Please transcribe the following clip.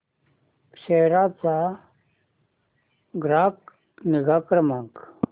सेरा चा ग्राहक निगा क्रमांक